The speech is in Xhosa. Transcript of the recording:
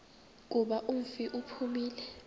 kuba umfi uphumile